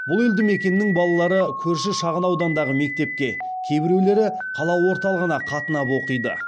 бұл елді мекеннің балалары көрші шағын аудандағы мектепке кейбіреулері қала орталығына қатынап оқиды